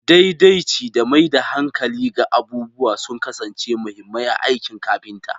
Daidaici da maida hankali ga abubuwa sun kasance mahimmai a aikin kafinta.